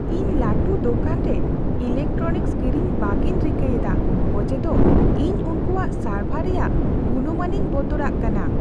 ᱤᱧ ᱞᱟᱹᱴᱩ ᱫᱳᱠᱟᱱ ᱨᱮ ᱤᱞᱮᱠᱴᱨᱚᱱᱤᱠᱥ ᱠᱤᱨᱤᱧ ᱵᱟᱹᱜᱤᱧ ᱨᱤᱠᱟᱹ ᱮᱫᱟ ᱚᱡᱮᱫᱚ ᱤᱧ ᱩᱱᱠᱚᱣᱟᱜ ᱥᱟᱨᱵᱷᱟᱨ ᱨᱮᱭᱟᱜ ᱜᱩᱱᱢᱟᱱᱤᱧ ᱵᱚᱛᱚᱨᱟᱜ ᱠᱟᱱᱟ ᱾